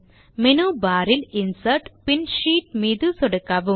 menu bar இல் insert பின் sheet மீது சொடுக்கவும்